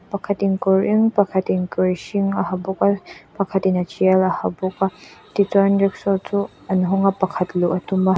pakhatin kawr eng pakhatin kawr hring a ha bawk a pakhatin a tial a ha bawk a tichuan rikshaw chu an hawng a pakhat luh a tum a.